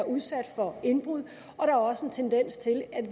udsat for indbrud og der er også en tendens til at